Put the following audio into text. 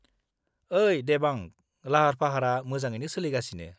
ओई देबांग, लाहार-फाहारा मोजाङैनो सोलिगासिनो।